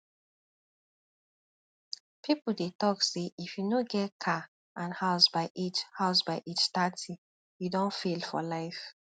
people dey talk say if you no get car and house by age house by age thirty you don fail for life